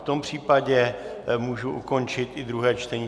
V tom případě můžu ukončit i druhé čtení.